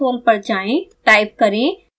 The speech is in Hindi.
scilab console पर जाएँ